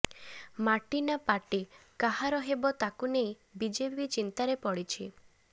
ମାଟି ନା ପାର୍ଟି କାହାର ହେବ ତାକୁ ନେଇ ବିଜେପି ଚିନ୍ତାରେ ପଡ଼ିଛି